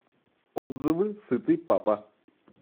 отзывы сытый папа